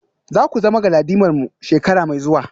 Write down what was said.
Za ku zama galadimarmu shekara mai zuwa?